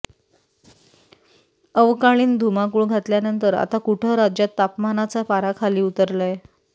अवकाळीनं धुमाकूळ घातल्यानंतर आताकुठं राज्यात तापमानाचा पारा खाली उतरलाय